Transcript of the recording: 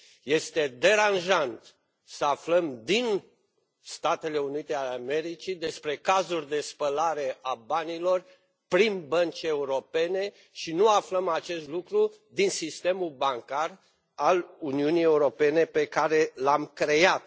Este deranjant să aflăm din Statele Unite ale Americii despre cazuri de spălare a banilor prin bănci europene și să nu aflăm acest lucru din sistemul bancar al Uniunii Europene, pe care l am creat.